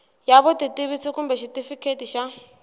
ya vutitivisi kumbe xitifiketi xa